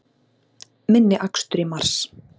Minni akstur í mars